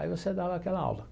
Aí você dava aquela aula.